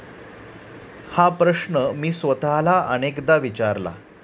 हा प्रश्न मी स्वतःला अनेकदा विचारला.